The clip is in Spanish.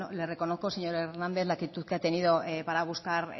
le reconozco señor hernández la actitud que ha tenido para buscar